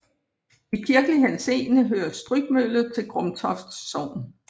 I kirkelig henseende hører Strygmølle til Grumtoft Sogn